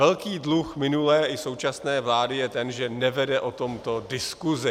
Velký dluh minulé i současné vlády je ten, že nevede o tomto diskuzi.